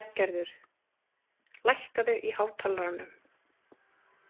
Bjarngerður, lækkaðu í hátalaranum.